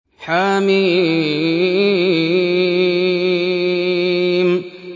حم